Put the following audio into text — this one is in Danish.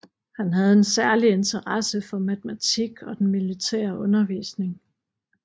Han havde en særlig interesse for matematik og den militære undervisning